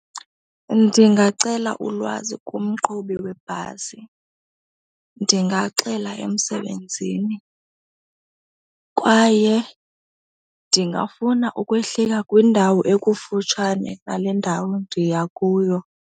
Ndingacela ulwazi kumqhubi webhasi, ndingaxela emsebenzini kwaye ndingafuna ukwehlika kwindawo ekufutshane nale ndawo ndiya kuyo.